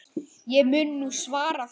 Ég mun nú svara því.